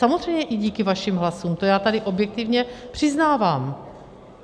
Samozřejmě i díky vašim hlasům, to já tady objektivně přiznávám.